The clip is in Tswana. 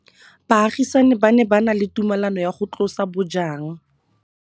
Baagisani ba ne ba na le tumalanô ya go tlosa bojang.